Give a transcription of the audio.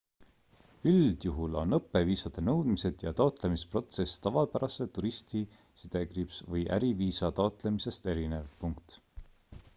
üldjuhul on õppeviisade nõudmised ja taotlemisprotsess tavapärase turisti või äriviisa taotlemisest erinev